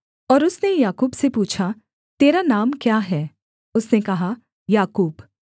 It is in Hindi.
और उसने याकूब से पूछा तेरा नाम क्या है उसने कहा याकूब